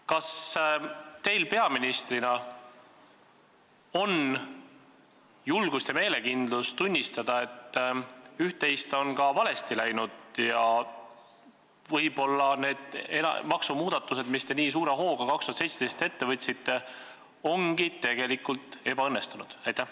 Kas teil peaministrina on julgust ja meelekindlust tunnistada, et üht-teist on ka valesti läinud ja võib-olla need maksumuudatused, mis te nii suure hooga aastal 2017 ette võtsite, on tegelikult ebaõnnestunud?